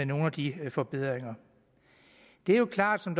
nogle af de forbedringer det er jo klart som